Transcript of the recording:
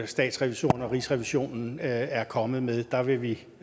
statsrevisorerne og rigsrevisionen er kommet med der vil vi